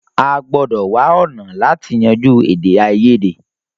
À gbòdò wá ọ̀nà láti yanjú èdè àìyèdè.